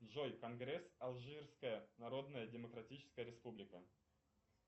джой конгресс алжирская народная демократическая республика